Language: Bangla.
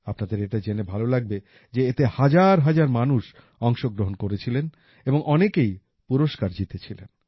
আপনাদের এটা জেনে ভালোলাগবে যে এতে হাজার হাজার মানুষ অংশগ্রহণ করেছিলেন এবং অনেকেই পুরস্কার জিতেছিলেন